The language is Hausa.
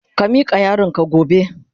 Ka mika yaron ka gobe.